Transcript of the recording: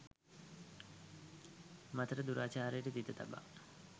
මතට දුරාචාරයට තිත තබා